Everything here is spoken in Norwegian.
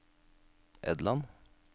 Edland